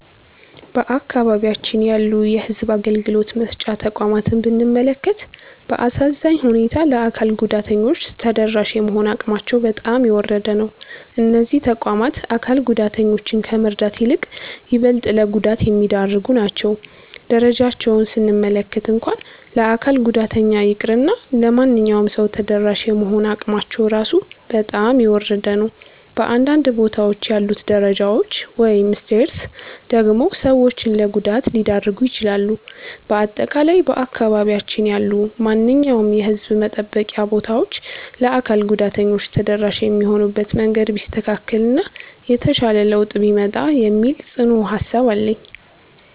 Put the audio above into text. በአካባቢያችን ያሉ የሕዝብ አገልግሎት መስጫ ተቋማትን ብንመለከት፣ በአሳዛኝ ሁኔታ ለአካል ጉዳተኞች ተደራሽ የመሆን አቅማቸው በጣም የወረደ ነው። እነዚህ ተቋማት አካል ጉዳተኞችን ከመርዳት ይልቅ ይበልጥ ለጉዳት የሚዳርጉ ናቸው። ደረጃቸውን ስንመለከት እንኳን ለአካል ጉዳተኛ ይቅርና ለማንኛውም ሰው ተደራሽ የመሆን አቅማቸው ራሱ በጣም የወረደ ነው። በአንዳንድ ቦታዎች ያሉት ደረጃዎች (Stairs) ደግሞ ሰዎችን ለጉዳት ሊዳርጉ ይችላሉ። በአጠቃላይ በአካባቢያችን ያሉ ማንኛውም የሕዝብ መጠበቂያ ቦታዎች ለአካል ጉዳተኞች ተደራሽ የሚሆኑበት መንገድ ቢስተካከል እና የተሻለ ለውጥ ቢመጣ የሚል ጽኑ ሃሳብ አለኝ።